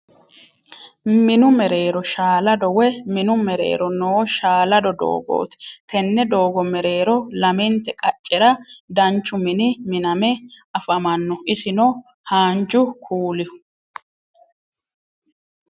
Minu mereero shaalaado woy minu mereero noo shaalado doogooti. Tenne doogo mereero lamente qaccera danchu mini miname afamanno isino haanju kuulihu.